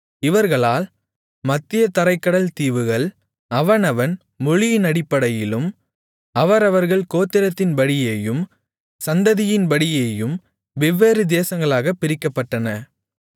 இவர்களால் மத்திய தரைக்கடல் தீவுகள் அவனவன் மொழியினடிப்படையிலும் அவரவர்கள் கோத்திரத்தின்படியேயும் சந்ததியின்படியேயும் வெவ்வேறு தேசங்களாகப் பிரிக்கப்பட்டன